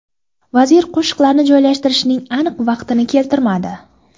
Vazir qo‘shinlar joylashtirilishining aniq vaqtini keltirmadi.